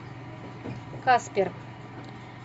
каспер